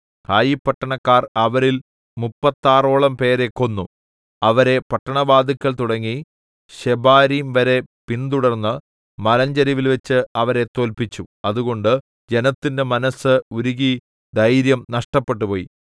ഹായി പട്ടണക്കാർ അവരിൽ മുപ്പത്താറോളം പേരെ കൊന്നു അവരെ പട്ടണവാതിൽക്കൽ തുടങ്ങി ശെബാരീം വരെ പിന്തുടർന്ന് മലഞ്ചരിവിൽവെച്ച് അവരെ തോല്പിച്ചു അതുകൊണ്ട് ജനത്തിന്റെ മനസ്സ് ഉരുകി ധൈര്യം നഷ്ടപ്പെട്ടുപോയി